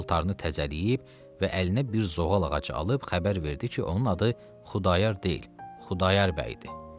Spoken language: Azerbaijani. Paltarını təzələyib və əlinə bir zoğal ağacı alıb xəbər verdi ki, onun adı Xudayar deyil, Xudayar bəy idi.